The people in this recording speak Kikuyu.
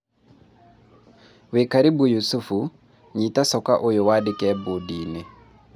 wĩkarĩbũ Yusufu,,nyita coka ũyũ wandĩke mbũndinĩ